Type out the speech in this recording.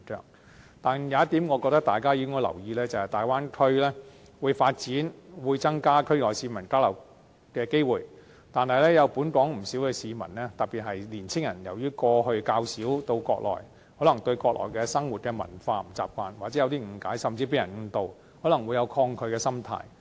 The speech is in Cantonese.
不過，我認為有一點值得大家留意，便是大灣區會發展，會增加區內市民交流機會，然而本港有不少市民，特別是年青人由於過去較少到國內，可能不習慣國內的生活文化或有些誤解，甚至被人誤導，可能會有抗拒的心態。